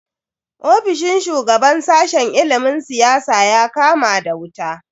Ofishin shugaban sashen ilimin siyasa ya kama da wuta.